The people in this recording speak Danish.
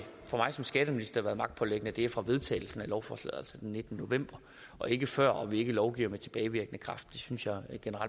for mig som skatteminister været magtpåliggende at det er fra vedtagelsen af lovforslaget altså den nittende november og ikke før og at vi ikke lovgiver med tilbagevirkende kraft det synes jeg